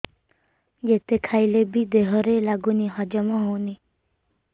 ଯେତେ ଖାଇଲେ ବି ଦେହରେ ଲାଗୁନି ହଜମ ହଉନି